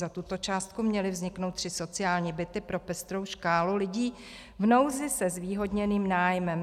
Za tuto částku měly vzniknout 3 sociální byty pro pestrou škálu lidí v nouzi se zvýhodněným nájmem.